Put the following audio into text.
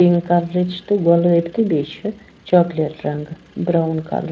pink کلرٕچ تہٕ گۄلٲبۍتہِ بیٚیہِ چھ چاکلیٹ رنٛگہٕ برٛوُن .کلر